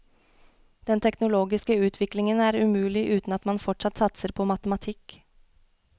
Den teknologiske utviklingen er umulig uten at man fortsatt satser på matematikk.